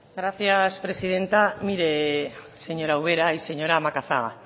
gracias presidenta mire señora ubera y señora macazaga